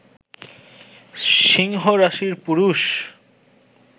সিংহ রাশির পুরুষ